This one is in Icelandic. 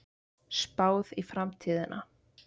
Spáð í framtíðina